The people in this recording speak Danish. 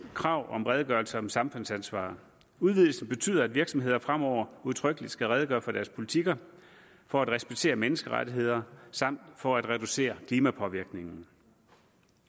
krav om redegørelse om samfundsansvar udvidelsen betyder at virksomheder fremover udtrykkeligt skal redegøre for deres politikker for at respektere menneskerettigheder samt for at reducere klimapåvirkninger